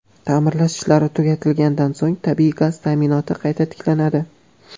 Ta’mirlash ishlari tugatilgandan so‘ng, tabiiy gaz ta’minoti qayta tiklanadi.